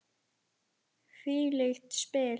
Hvílík spil!